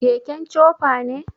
keken chopa ne